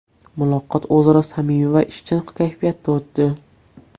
Muloqot o‘zaro samimiy va ishchan kayfiyatda o‘tdi.